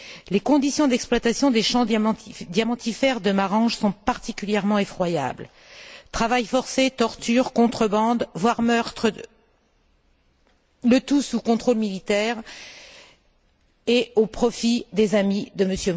Les conditions d'exploitation des champs diamantifères de Marange sont particulièrement effroyables travail forcé, tortures, contrebande, voire meurtres, le tout sous contrôle militaire, et au profit des amis de M.